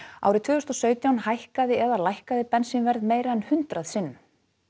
árið tvö þúsund og sautján hækkaði eða lækkaði bensínverð meira en hundrað sinnum